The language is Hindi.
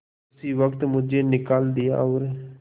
उसी वक्त मुझे निकाल दिया और